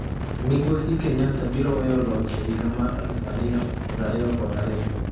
Migosi Kenyatta biro weyo loch e higa mar 2022.